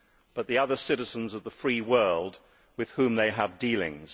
but the other citizens of the Free World with whom they have dealings.